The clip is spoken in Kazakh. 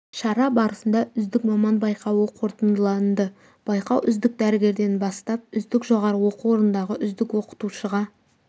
шара барысында үздік маман байқауы қорытындыланды байқау үздік дәрігерден бастап үздік жоғарғы оқу орнындағы үздік оқытушыға